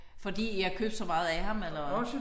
Fordi I har købt så meget af ham eller?